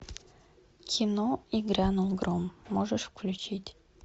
кино и грянул гром можешь включить